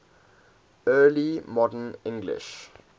early modern english